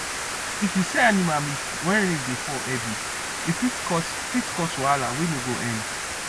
if you sell animal meat when rain dey fall heavy e fit cause fit cause wahala wey no go end